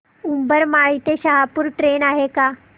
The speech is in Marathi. उंबरमाळी ते शहापूर ट्रेन आहे का